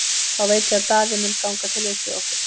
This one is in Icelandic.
Þá veit ég að Daði mun ganga til liðs við okkur.